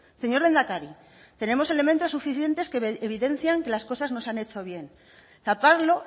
señor lehendakari tenemos elementos suficientes que evidencian que las cosas no se han hecho bien taparlo